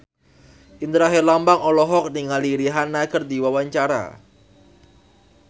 Indra Herlambang olohok ningali Rihanna keur diwawancara